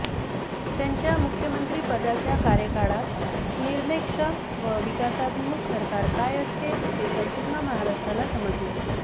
त्यांच्या मुख्यमंत्री पदाच्या कार्यकाळात निर्णयक्षम व विकासाभिमुख सरकार काय असते हे संपूर्ण महाराष्ट्राला समजले